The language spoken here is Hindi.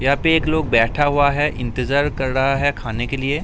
यहां पे एक लोग बैठा हुआ है। इंतज़ार कर रहा है खाने के लिए--